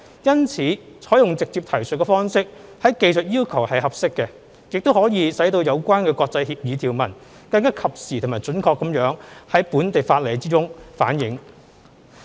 因此，採用"直接提述方式"於技術要求是合適的，亦可以使有關國際協議條文更及時和準確地在本地法例中反映。